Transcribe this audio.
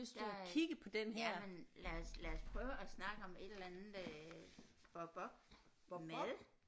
Der er jamen lad os lad os prøve at snakke om et eller andet øh bop bop mad